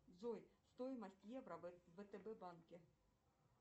джой стоимость евро в втб банке